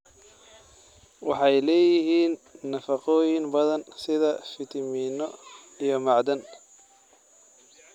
Waxay leeyihiin nafaqooyin badan sida fiitamiinno, iyo macdan.